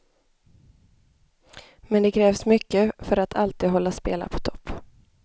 Men det krävs mycket för att alltid hålla spela på topp.